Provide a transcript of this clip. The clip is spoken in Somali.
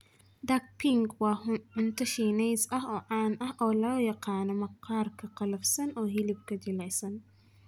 Duck Peking waa cunto Shiineys ah oo caan ah oo loo yaqaan maqaarka qallafsan iyo hilibka jilicsan.